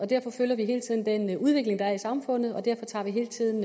derfor følger vi hele tiden den udvikling der er i samfundet og derfor tager vi hele tiden